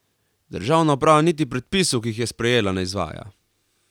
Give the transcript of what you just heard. Državna uprava niti predpisov, ki jih je sprejela, ne izvaja.